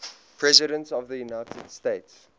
presidents of the united states